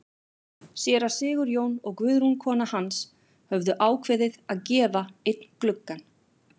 Séra Sigurjón og Guðrún kona hans höfðu ákveðið að gefa einn gluggann.